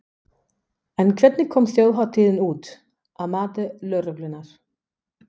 En hvernig kom þjóðhátíðin út, að mati lögreglunnar?